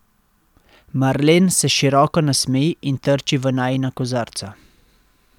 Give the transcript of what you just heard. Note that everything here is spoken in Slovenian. Marlen se široko nasmeji in trči v najina kozarca.